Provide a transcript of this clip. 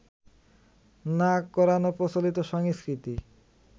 না করানোর প্রচলিত সংস্কৃতি